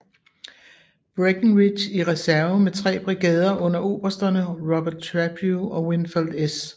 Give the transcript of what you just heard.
Breckenridge i reserve med tre brigader under obersterne Robert Trabue og Winfield S